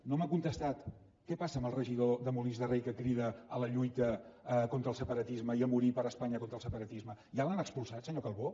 no m’ha contestat què passa amb el regidor de molins de rei que crida a la lluita contra el separatisme i a morir per espanya contra el separatisme ja l’han expulsat senyor calbó